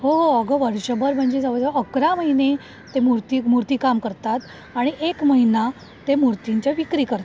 हो अगं वर्षभर म्हणजे जवळ जवळ अकरा महिने ते मूर्ती, मूर्ती काम करतात आणि एक महिना ते मूर्तींच्या विक्री करतात.